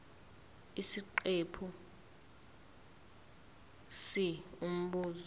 isiqephu c umbuzo